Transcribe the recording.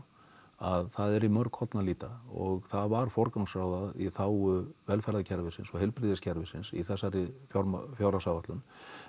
að það er í mörg horn að líta og það var forgangsraðað í þágu velferðarkerfisins og heilbrigðiskerfisins í þessari fjárhagsáætlun